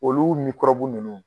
Olu mikɔrɔbu ninnu